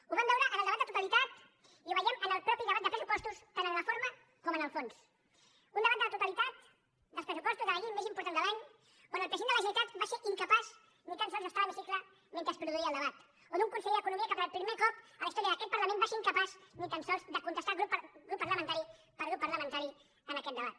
ho vam veure en el debat de totalitat i ho veiem en el mateix debat de pressupostos tant en la forma com en el fons un debat de la totalitat dels pressupostos de la llei més important de l’any on el president de la generalitat va ser incapaç ni tan sols d’estar a l’hemi cicle mentre es produïa el debat o d’un conseller d’economia que per primer cop a la història d’aquest parlament va ser incapaç ni tan sols de contestar grup parlamentari per grup parlamentari en aquest debat